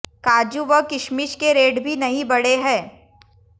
काजू व किशमिश के रेट भी नहीं बढ़े हैं